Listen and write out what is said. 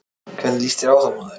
Hvernig líst þér á það, maður?